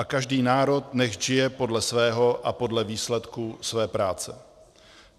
A každý národ nechť žije podle svého a podle výsledků své práce.